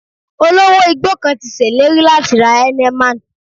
Olówó igbó kan ti ṣèlérí láti ra Heineman